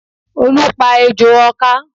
Olu pa ejò ọ̀ká